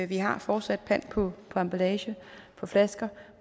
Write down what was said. vi har fortsat pant på emballage på flasker